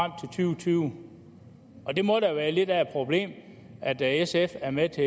tyve det må da være lidt af et problem at sf er med til